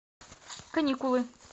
каникулы